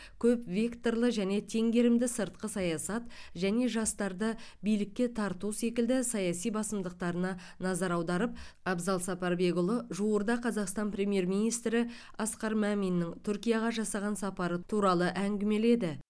көп векторлы және теңгерімді сыртқы саясат және жастарды билікке тарту секілді саяси басымдықтарына назар аударып абзал сапарбекұлы жуырда қазақстан премьер министрі асқар мәминнің түркияға жасаған сапары туралы әңгімеледі